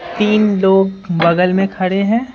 तीन लोग बगल में खड़े हैं।